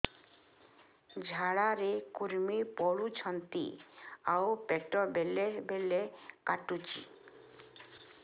ଝାଡା ରେ କୁର୍ମି ପଡୁଛନ୍ତି ଆଉ ପେଟ ବେଳେ ବେଳେ କାଟୁଛି